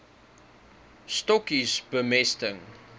stokkies bemesting